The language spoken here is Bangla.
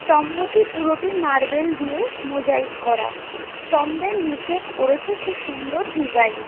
স্তম্ভটি পুরোটি মার্ভেল দিয়ে মোজাইক করা স্তম্ভের নিচে করেছে খুব সুন্দর ডিসাইন ।